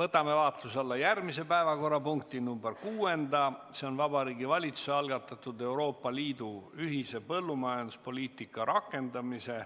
Võtame vaatluse alla järgmise päevakorrapunkti, nr 6, milleks on Vabariigi Valitsuse algatatud Euroopa Liidu ühise põllumajanduspoliitika rakendamise